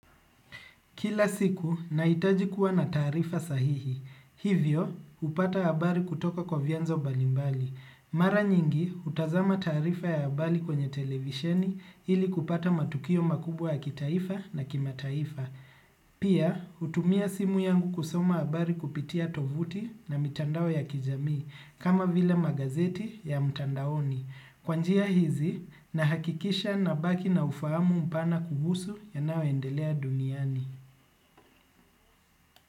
Kila siku naitaji kuwa na tarifa sahihi. Hivyo upata abari kutoka kwa vyenzo mbalimbali. Mara nyingi utazama tarifa ya abari kwenye televisheni ili kupata matukio makubwa ya kitaifa na kima taifa. Pia utumia simu yangu kusoma abari kupitia tovuti na mitandao ya kijami kama vile magazeti ya mtandaoni. Kwa njia hizi nahakikisha nabaki na ufahamu mpana kuhusu yanaoendelea duniani. Muzika.